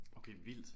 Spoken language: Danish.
Okay vildt